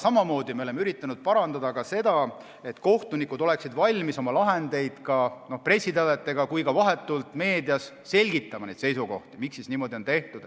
Samamoodi oleme üritanud parandada ka seda, et kohtunikud oleksid valmis oma lahendeid nii pressiteadetes kui ka vahetult meedias selgitama, et nad oleksid valmis selgitama, miks niimoodi on tehtud.